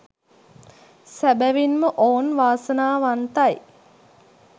සැබැවින් ම ඔවුන් වාසනාවන්තයි